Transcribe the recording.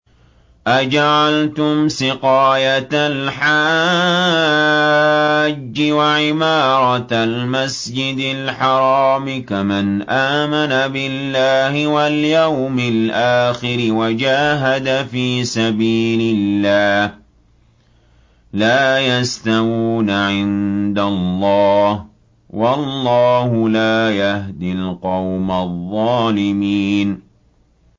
۞ أَجَعَلْتُمْ سِقَايَةَ الْحَاجِّ وَعِمَارَةَ الْمَسْجِدِ الْحَرَامِ كَمَنْ آمَنَ بِاللَّهِ وَالْيَوْمِ الْآخِرِ وَجَاهَدَ فِي سَبِيلِ اللَّهِ ۚ لَا يَسْتَوُونَ عِندَ اللَّهِ ۗ وَاللَّهُ لَا يَهْدِي الْقَوْمَ الظَّالِمِينَ